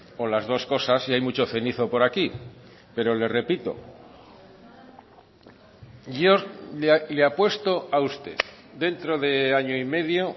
o las dos cosas y hay mucho cenizo por aquí pero le repito yo le apuesto a usted dentro de año y medio